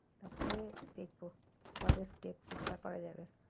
তারপর দেখবো পরের step চিন্তা করা যাবে,